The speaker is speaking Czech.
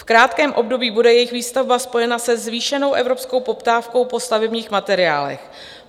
V krátkém období bude jejich výstavba spojena se zvýšenou evropskou poptávkou po stavebních materiálech.